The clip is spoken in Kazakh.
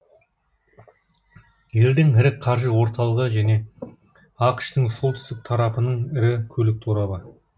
елдің ірі қаржы орталығы және ақш тың солтүстік тарапының ірі көлік торабы